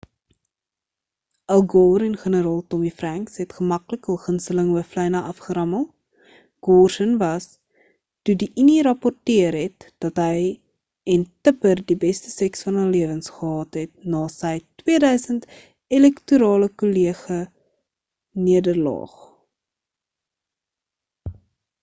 al gore en generaal tommy franks het gemaklik hulle gunsteling hooflyne afgerammel gore s’n was toe die unie rapporteer het dat hy en tipper die beste seks van hulle lewens gehad het na sy 2000 elektorale kollege nederlaag